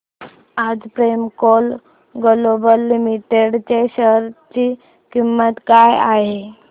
आज Premco global limited च्या share ची किंमत काय आहे